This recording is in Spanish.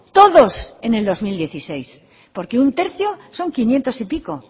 todos en el dos mil dieciséis porque un tercio son quinientos y pico